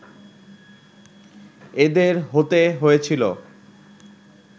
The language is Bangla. এঁদের হতে হয়েছিল